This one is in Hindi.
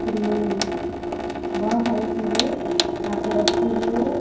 क्रीम बहोत सारी चीजें यहां पे रखी हुई हैं।